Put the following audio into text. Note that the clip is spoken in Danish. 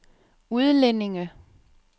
udlændinge